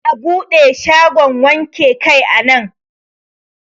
Za'a buɗe shagon wanke kai a nan.